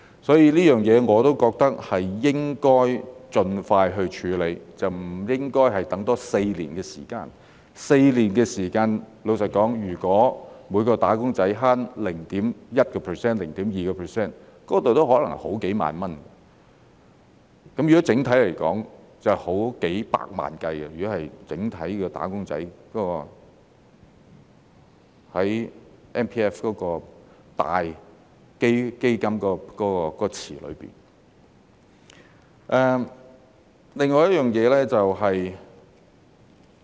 所以，這方面我覺得應該盡快處理，而不應多等4年 ；4 年時間，老實說，如果每名"打工仔"節省 0.1% 或 0.2%， 那可能已是好幾萬元；整體來說，如果按整體"打工仔"在 MPF 的大基金池來計算，便已是數百萬元。